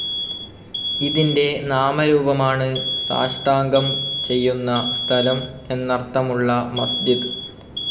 ഇതിൻ്റെ നാമരൂപമാണ് സാഷ്ടാംഗം ചെയ്യുന്ന സ്ഥലം എന്നർത്ഥമുളള മസ്ജിദ്.